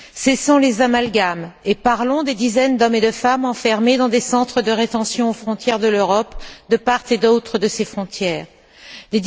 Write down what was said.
Cessons les amalgames, et parlons des dizaines d'hommes et de femmes enfermés dans des centres de rétention aux frontières de l'Europe, de part et d'autre des frontières de celle ci.